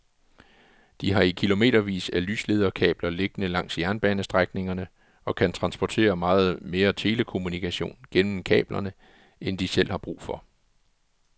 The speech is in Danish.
De har kilometervis af lyslederkabler liggende langs jernbanestrækningerne og kan transportere meget mere telekommunikation gennem kablerne end de selv har brug for.